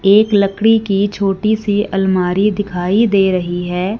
एक लकड़ी की छोटीसी अलमारी दिखाई दे रही हैं।